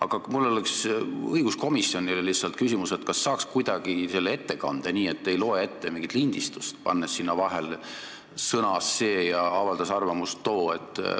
Aga mul oleks õiguskomisjonile lihtsalt küsimus, kas saaks kuidagi kuulda sellist ettekannet, et te ei loe ette mingit lindistust, pannes sinna vahele "sõnas see ja avaldas arvamust too".